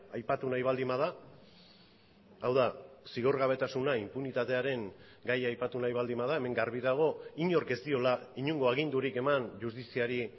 aipatu nahi baldin bada hau da zigorgabetasuna inpunitatearen gaia aipatu nahi baldin bada hemen garbi dago inork ez diola inongo agindurik eman justiziari